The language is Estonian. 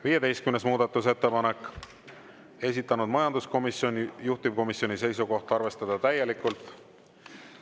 15. muudatusettepanek, esitanud majanduskomisjon, juhtivkomisjoni seisukoht on arvestada täielikult.